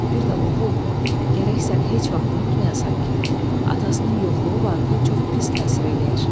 Bir də oğul, gərək sən heç vaxt unutmayasan ki, atasının yoxluğu Vaqifə çox pis təsir eləyir.